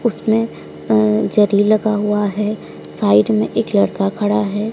उसमें अ जरी लगा हुआ है साइड में एक लड़का खड़ा है।